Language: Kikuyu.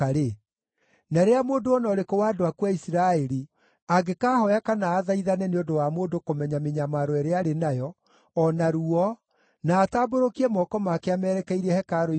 na rĩrĩa mũndũ o na ũrĩkũ wa andũ aku a Isiraeli, angĩkaahooya kana athaithane, nĩ ũndũ wa mũndũ kũmenya mĩnyamaro ĩrĩa arĩ nayo, o na ruo, na atambũrũkie moko make amerekeirie hekarũ-inĩ ĩno,